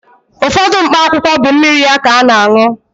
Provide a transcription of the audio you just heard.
Ụfọdụ mkpa akwụkwọ bụ mmiri ya ka ana-añụ.